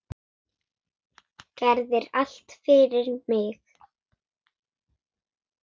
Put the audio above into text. Gerðir allt fyrir mig.